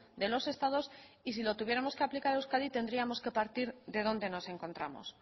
de los estados y si lo tuviéramos que aplicar a euskadi tendríamos que partir de dónde nos encontramos